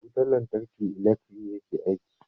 Da wutar lantarki ilekri yake aiki.